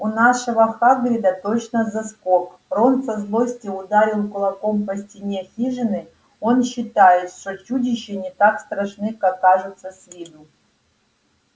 у нашего хагрида точно заскок рон со злости ударил кулаком по стене хижины он считает что чудища не так страшны как кажутся с виду